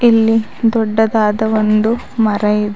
ಇಲ್ಲಿ ದೊಡ್ಡದಾದ ಒಂದು ಮರ ಇದೆ.